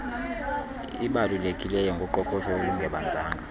ibalulekileyo ngoqoqosho olungebanzanga